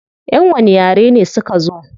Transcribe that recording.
Yan wani yare ne suka zo?